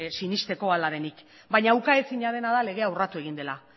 sinesteko ala denik baina ukaezina dena da legea urratu egin dela